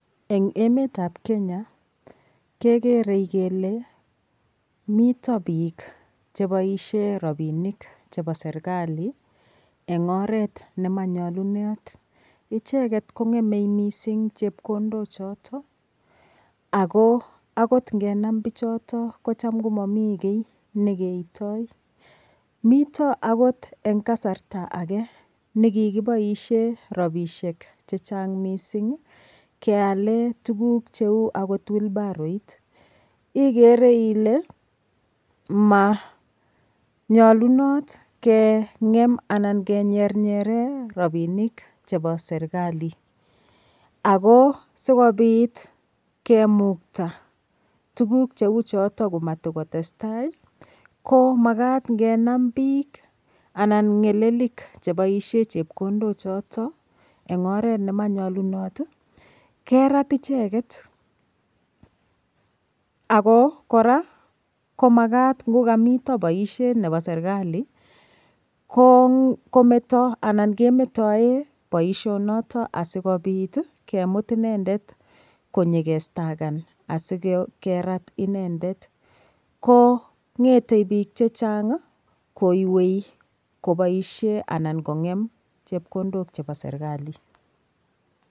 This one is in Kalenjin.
Eng' emetab Kenya kekerei kele mito biik cheboishei ropinik chebo serikali eng' oret nemanyolunot icheget kong'emei mising' chepkondok choto ako akot ngenam bichoto kocham komamii kii nekeitoi mito akot eng' kasarta age nikikiboishe ropishek cheng' mising' keale tukuk cheu akot wilbaroit igere manyolunot keng'em anan kenyernyere ropinik chebo serikali ako sikobit kemukta tukuk cheu choto komatikotestai ko makat ngenam biik anan ng'elelik cheboishe chepkondo choto eng' oret nemanyolunot kerat icheget ako kora ngokamito boishet nebo serikali kometo anan kemetoe boishonoto asikobit kemut inendet konyikestakan asikerat inendet kong'etei biik chechang' kowei koboishe anan kong'em chepkondok chebo serikali